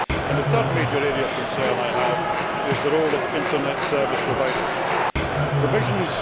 The third major area of concern I have is the role of Internet service providers Provisions